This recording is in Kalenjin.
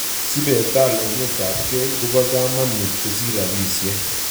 sbetal hometabkey koba kaamanuut kosir rabisiek